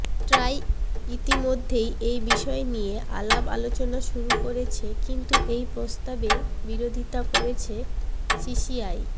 try ইতিমধ্যেই এই বিষয় নিয়ে আলাপ আলোচনা শুরু করেছে কিন্তু এই প্রস্তাবের বিরোধিতা করছে সিসিআই